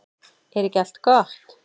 Er ekki allt gott?